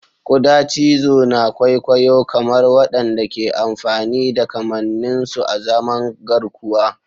Kuda cizo na kwaikwayo-kamar waɗanda ke amfani da kamannin su azaman garkuwa.